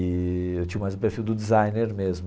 Eee eu tinha mais o perfil do designer mesmo.